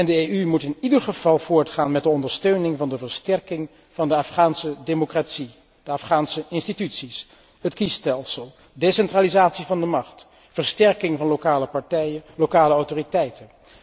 De EU moet in ieder geval voortgaan met de ondersteuning van de versterking van de Afghaanse democratie, de Afghaanse instituties, het kiesstelsel, decentralisatie van de macht, versterking van lokale partijen, lokale autoriteiten.